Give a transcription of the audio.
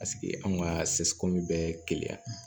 Paseke anw ka bɛ keleya yan